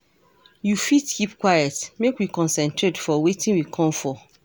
You fit keep quite, make we concentrate for wetin we come for.